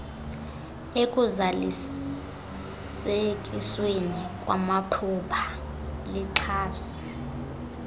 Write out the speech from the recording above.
ekuzalisekisweni kwamaphulo lixhase